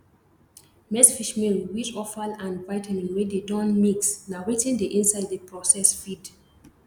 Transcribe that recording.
maizefishmeal wheat offal and vitamin wey dey don mix na wetin dey inside the processed feed